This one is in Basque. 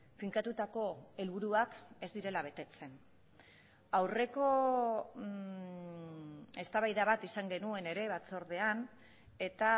finkatutako helburuak ez direla betetzen aurreko eztabaida bat izan genuen ere batzordean eta